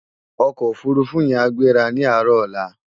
Òkò ófúrúfú yèn á gbérá ni àárò òlá